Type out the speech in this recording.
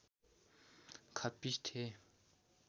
खप्पिस थिए